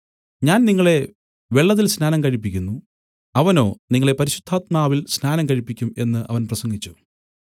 ഞാൻ നിങ്ങളെ വെള്ളത്തിൽ സ്നാനം കഴിപ്പിക്കുന്നു അവനോ നിങ്ങളെ പരിശുദ്ധാത്മാവിൽ സ്നാനം കഴിപ്പിക്കും എന്നു അവൻ പ്രസംഗിച്ചു